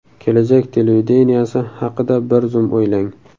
Kelajak televideniyesi haqida bir zum o‘ylang.